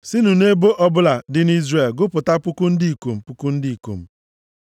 Sinụ nʼebo ọbụla dị nʼIzrel gụpụta puku ndị ikom puku ndị ikom.”